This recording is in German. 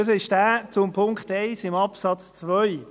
Es ist derjenige zu Punkt 1 von Absatz 2.